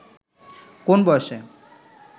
কোন বয়সে